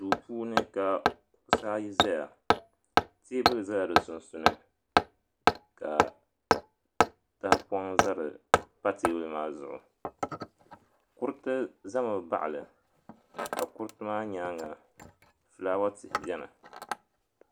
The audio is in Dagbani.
Duupuuni ka kuɣusi ayi zaya teebuli zala di sunsuuni ka tahapɔŋ pa teebuli maa zuɣu kuriti zami baɣali ka kuriti maa nyaanga filaawa tihi beni.